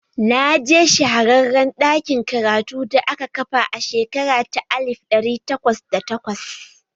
Na je shahararren ɗakin karatu da aka kafa a shekara ta alif ɗari takwas da takwas